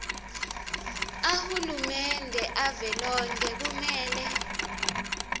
ahulumende avelonkhe kumele